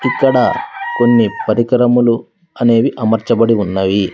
ఇక్కడ కొన్ని పరికరములు అనేవి అమర్చబడి ఉన్నవి.